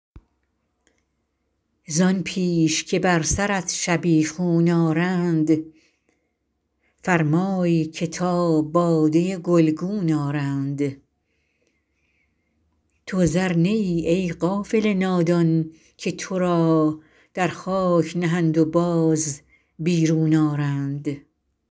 زآن پیش که بر سرت شبیخون آرند فرمای که تا باده گلگون آرند تو زر نه ای ای غافل نادان که تو را در خاک نهند و باز بیرون آرند